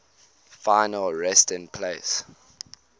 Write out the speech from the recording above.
final resting place